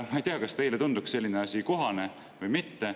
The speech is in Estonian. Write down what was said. Ma ei tea, kas teile tundub selline asi kohane või mitte.